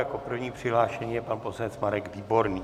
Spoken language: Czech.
Jako první přihlášený je pan poslanec Marek Výborný.